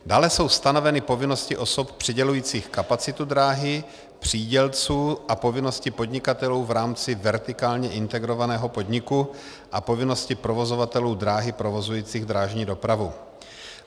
Dále jsou stanoveny povinnosti osob přidělujících kapacitu dráhy, přídělců, a povinnosti podnikatelů v rámci vertikálně integrovaného podniku a povinnosti provozovatelů dráhy provozujících drážní dopravu.